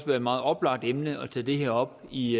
være et meget oplagt emne at tage det her op i